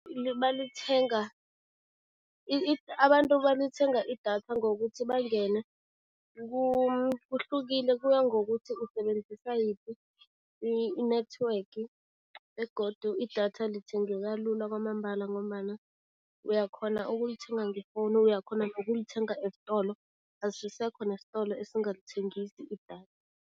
Balithenga abantu balithenga idatha ngokuthi bangene kuhlukile, kuya ngokuthi usebenzisa yiphi i-network begodu idatha lithengeka lula kwamambala ngombana uyakghona ukulithenga ngefowunu, uyakghona nokulithenga esitolo, asisekho nesitolo esingalithengisi idatha.